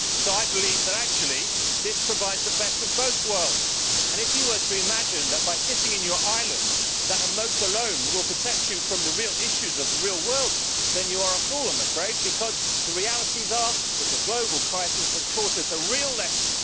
I believe that this actually provides the best of both worlds. If you are to imagine that, sitting on your island, a moat alone will protect you from the real issues of the real world, then you are a fool, I am afraid, because the realities are that the global crisis has taught us a real lesson.